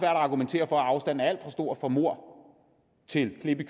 at argumentere for at afstanden er alt stor fra mord til klip i